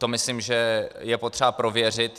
To myslím, že je potřeba prověřit.